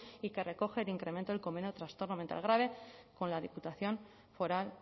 y que recoge el incremento del convenio de trastorno mental grave con la diputación foral